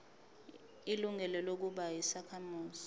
ilungelo lokuba yisakhamuzi